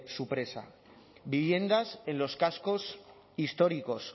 su presa viviendas en los cascos históricos